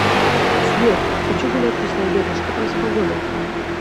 сбер хочу гулять после обеда что там с погодой